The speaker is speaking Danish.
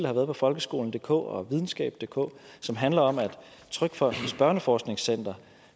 har været på folkeskolendk og videnskabdk og som handler om at trygfondens børneforskningscenter